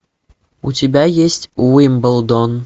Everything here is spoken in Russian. у тебя есть уимблдон